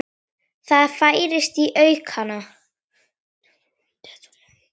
Það færist í aukana.